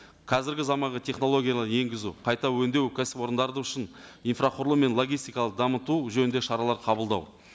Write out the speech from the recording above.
қазіргі заманғы технологиялар енгізу қайта өңдеу кәсіпорындары үшін инфрақұрылым мен логистикалық дамыту жөнінде шаралар қабылдау